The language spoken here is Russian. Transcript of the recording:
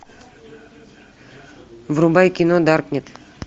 врубай кино даркнет